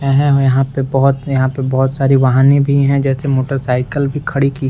एहे यहाँ पे बहुत यहाँ पे बहुत सारी वाहने भी है जैसे मोटरसाइकिल भी खड़ी की --